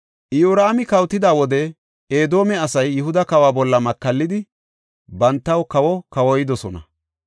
Iyoraami kawotida wode, Edoome asay Yihuda kawa bolla makallidi, bantaw kawo kawoydosona.